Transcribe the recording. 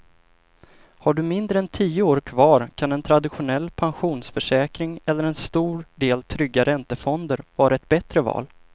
Har du mindre än tio år kvar kan en traditionell pensionsförsäkring eller en stor del trygga räntefonder vara ett bättre val.